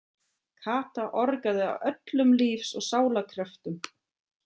Kata orgaði af öllum lífs og sálar kröftum.